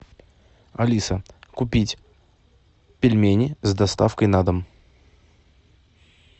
алиса купить пельмени с доставкой на дом